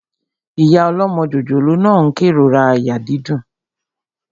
Ìyá ọlọ́mọ jòjòló náà n kérora àyà dídùn